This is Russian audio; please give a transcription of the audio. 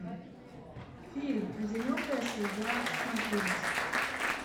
фильм одинокая судьба смотреть